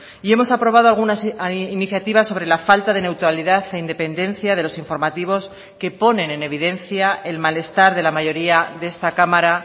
y hemos aprobado algunas iniciativas sobre la falta de neutralidad e independencia de los informativos que ponen en evidencia el malestar de la mayoría de esta cámara